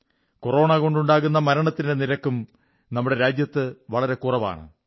കൊറോണകൊണ്ടുണ്ടാകുന്ന മരണത്തിന്റെ നിരക്കും നമ്മുടെ രാജ്യത്ത് വളരെ കുറവാണ്